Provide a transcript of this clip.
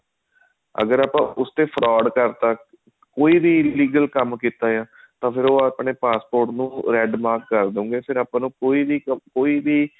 ਅਗਰ ਆਪਾਂ ਉਸ ਤੇ fraud ਕਰਤਾ ਕੋਈ ਵੀ illegal ਕੰਮ ਕੀਤਾ ਆ ਤਾਂ ਫ਼ੇਰ ਉਹ ਆਪਣੇ passport ਨੂੰ red mark ਕਰ ਦੇਣਗੇ ਫ਼ੇਰ ਆਪਾਂ ਨੂੰ ਕੋਈ ਵੀ ਕੋਈ ਵੀ